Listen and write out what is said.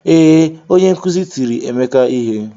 Ee, onye nkuzi tiri Emeka ihe.